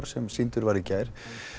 sem sýndur var í gær